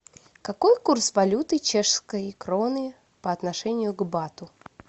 какой курс валюты чешской кроны по отношению к бату